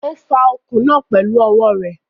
Ó fa okùn náà pẹ̀lú ọwọ́ rẹ̀.